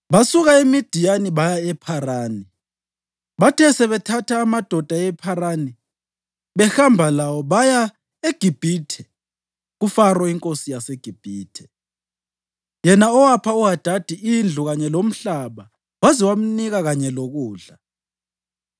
Basuka eMidiyani baya ePharani. Bathe sebethatha amadoda ePharani behamba lawo, baya eGibhithe, kuFaro inkosi yaseGibhithe, yena owapha uHadadi indlu kanye lomhlaba waze wamnika kanye lokudla.